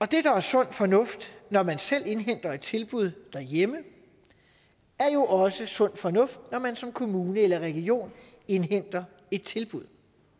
det der er sund fornuft når man selv indhenter et tilbud derhjemme er jo også sund fornuft når man som kommune eller region indhenter et tilbud